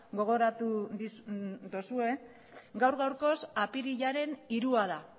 gogoratu duzue gaur gaurkoz apirilaren hirua da